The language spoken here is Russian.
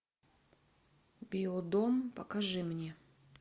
биодом покажи мне